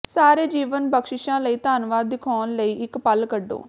ਸਾਰੇ ਜੀਵਨ ਬਖਸ਼ਿਸ਼ਾਂ ਲਈ ਧੰਨਵਾਦ ਦਿਖਾਉਣ ਲਈ ਇੱਕ ਪਲ ਕੱਢੋ